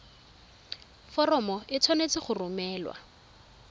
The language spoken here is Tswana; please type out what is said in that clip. foromo e tshwanetse go romelwa